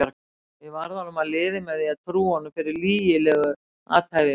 Ég varð honum að liði með því að trúa honum fyrir lygilegu athæfi mínu.